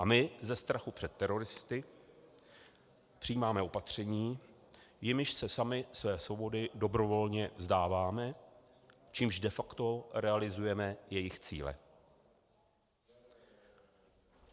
A my ze strachu před teroristy přijímáme opatření, jimiž se sami své svobody dobrovolně vzdáváme, čímž de facto realizujeme jejich cíle.